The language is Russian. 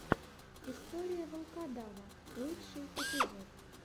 история волкодава лучший эпизод